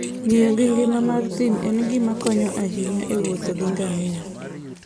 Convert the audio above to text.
Ng'iyo gi ngima mar thim en gima konyo ahinya e wuotho gi ngamia.